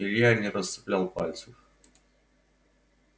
илья не расцеплял пальцев